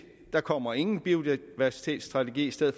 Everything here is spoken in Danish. der kommer ingen biodiversitetsstrategi i stedet